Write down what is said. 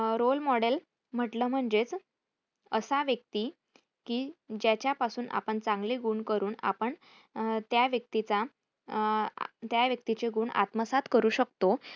अं role model म्हटलं म्हणजेच असा व्यक्ती कि ज्याच्यापासून आपण चांगले गुण करून आपण अं त्या व्यक्तीचा अं त्या व्यक्तीचे गुण आत्मसात करू शकतो.